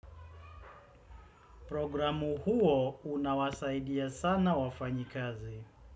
Programu huo unawasaidia sana wafanyikazi.